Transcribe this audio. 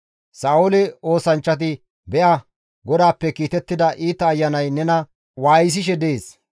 Sa7oole oosanchchati, «Be7a; GODAAPPE kiitettida iita ayanay nena waayisishe dees.